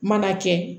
Mana kɛ